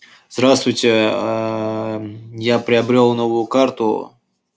здравствуйте я приобрёл новую карту